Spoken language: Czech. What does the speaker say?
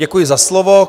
Děkuji za slovo.